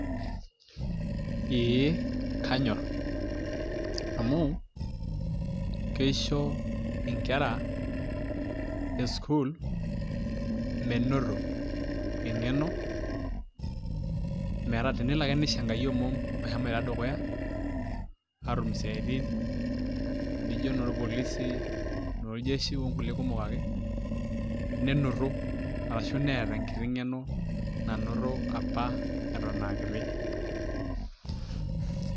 ee kanyor, amu, keisho nkera e sukuul menoto engeno, meta tenelo ake neisho enkai omom meshomoito dukuya, aatum isiatin naijo inoolpolisi, inooljeshi, onkulie kumok ake, nenoto ashu neeta enkiti ngeno nanoto apa etoon aakiti.